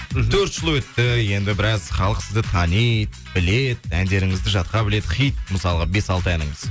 мхм төрт жыл өтті енді біраз халық сізді таниды біледі әндеріңізді жатқа біледі хит мысалға бес алты әніңіз